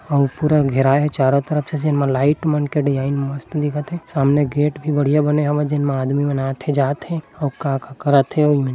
औ पूरा घेराय हे चारो तरफ से जेन मा लाइट मन के डिज़ाइन मस्त दिखत हे सामने गेट भी बढ़िया बने हवे जेनमा आदमीमन आत हे जात हे और का का करत हे ईमे--